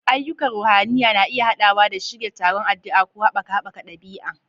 Ayyukan ruhaniya na iya haɗawa da shirya taron addu'a ko haɓaka haɓaka ɗabi'a.